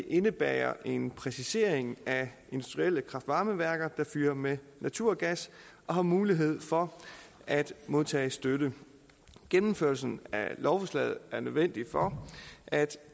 indebærer en præcisering af industrielle kraft varme værker der fyrer med naturgas og har mulighed for at modtage støtte gennemførelsen af lovforslaget er nødvendig for at